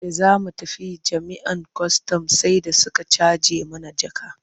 Da za mu tafi jami'an kwastam sai da suka caje mana jaka.